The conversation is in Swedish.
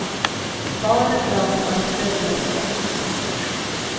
Barn är bra på att dölja sorg.